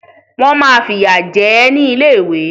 Wọ́n máa fìyà jẹ ẹ́ nílé ìwé